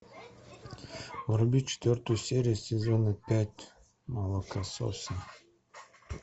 вруби четвертую серию сезона пять молокососы